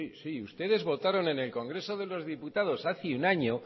sí sí sí ustedes votaron en el congreso de los diputados hace un año